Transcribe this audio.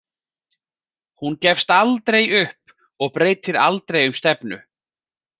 Hún gefst aldrei upp og breytir aldrei um stefnu.